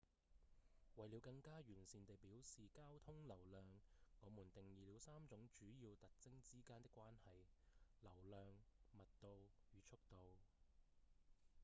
為了更加完善地表示交通流量我們定義了三種主要特徵之間的關係 ：1 流量2密度與3速度